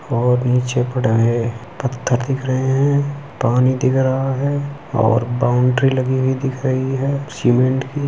और नीचे पड़ा हैपत्थर दिख रहे हैंपानी दिख रहा है और बाउंड्री लगी हुई दिख रही है सीमेंट की।